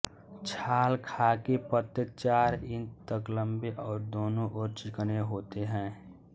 छाल खाकी पत्ते चार इंच तक लंबे और दोनों ओर चिकने होते हैं